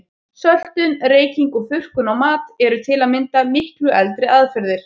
Söltun, reyking og þurrkun á mat eru til að mynda miklu eldri aðferðir.